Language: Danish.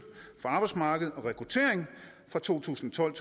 for arbejdsmarked og rekruttering fra to tusind og tolv